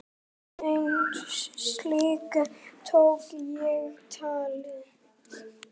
Einn slíkan tók ég tali.